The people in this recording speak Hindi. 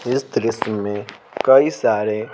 इस दृश्य में कई सारे--